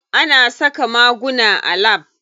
Ana saka maguna a lab.